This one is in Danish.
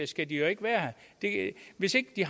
skal de jo ikke være her hvis ikke de